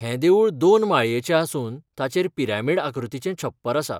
हें देवूळ दोन माळयेचें आसून ताचेर पिरामिड आकृतीचें छप्पर आसा.